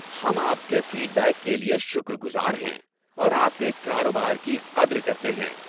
ہم آپ کے فیڈ بیک کے لیے شکر گزار ہیں اور آپ کے کاروبار کی قدر کرتے ہیں۔